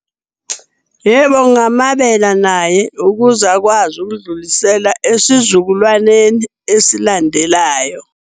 Yebo, ngingamabela naye ukuze akwazi ukudlulisela esizukulwaneni esilandelayo.